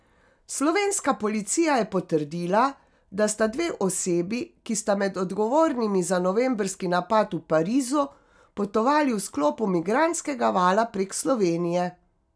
Slovenska policija je potrdila, da sta dve osebi, ki sta med odgovornimi za novembrski napad v Parizu, potovali v sklopu migrantskega vala prek Slovenije.